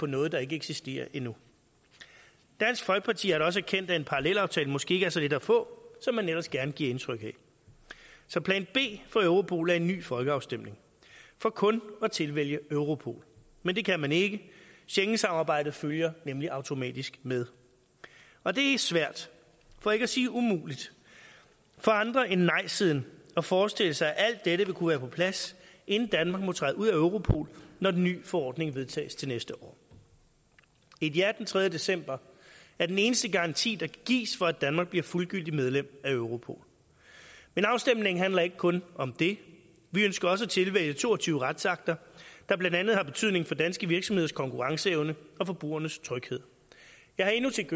noget der ikke eksisterer endnu dansk folkeparti har da også erkendt at en parallelaftale måske ikke er så let at få som man ellers gerne vil give indtryk af så plan b for europol er en ny folkeafstemning for kun at tilvælge europol men det kan man ikke schengensamarbejdet følger nemlig automatisk med og det er svært for ikke at sige umuligt for andre end nejsiden at forestille sig at alt dette vil kunne være på plads inden danmark må træde ud af europol når den ny forordning vedtages til næste år et ja den tredje december er den eneste garanti der kan gives for at danmark bliver fuldgyldigt medlem af europol men afstemningen handler ikke kun om det vi ønsker også at tilvælge to og tyve retsakter der blandt andet har betydning for danske virksomheders konkurrenceevne og forbrugernes tryghed jeg har endnu til